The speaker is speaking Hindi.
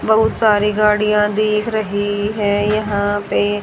बहुत सारी गाड़ियां दिख रही हैं यहां पे--